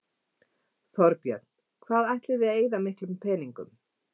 Þorbjörn: Hvað ætliði að eyða miklum peningum?